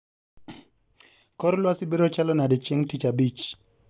Kor lwasi biro chalo nade chieng tich abich